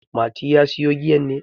Mati, ka sayo giyan ne?